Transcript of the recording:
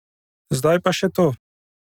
Zdaj pa še to!